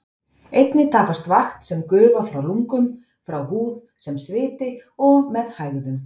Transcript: Einnig tapast vatn sem gufa frá lungum, frá húð sem sviti og með hægðum.